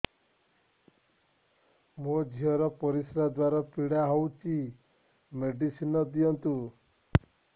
ମୋ ଝିଅ ର ପରିସ୍ରା ଦ୍ଵାର ପୀଡା ହଉଚି ମେଡିସିନ ଦିଅନ୍ତୁ